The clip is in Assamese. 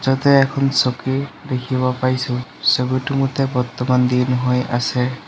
ইয়াতে এখন চকী দেখিব পাইছোঁ ছবিটোৰ মতে বৰ্তমান দিন হৈ আছে।